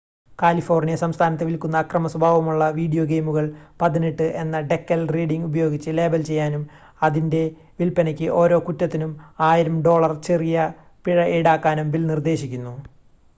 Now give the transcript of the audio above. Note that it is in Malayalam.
"കാലിഫോർണിയ സംസ്ഥാനത്ത് വിൽക്കുന്ന അക്രമ സ്വഭാവമുള്ള വീഡിയോ ഗെയിമുകൾ "18" എന്ന ഡെക്കൽ റീഡിംഗ് ഉപയോഗിച്ച് ലേബൽ ചെയ്യാനും അവയുടെ വിൽപ്പനയ്ക്ക് ഓരോ കുറ്റത്തിനും 1000 ഡോളർ ചെറിയ പിഴ ഈടാക്കാനും ബിൽ നിർദ്ദേശിക്കുന്നു.